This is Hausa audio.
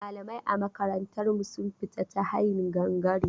Malamai a makarantar mu sun fita ta hayin gangare.